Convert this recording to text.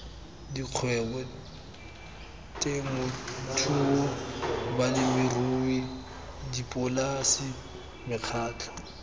dikgwebo temothuo balemirui dipolase mekgatlho